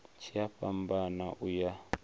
tshi a fhambana u ya